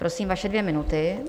Prosím, vaše dvě minuty.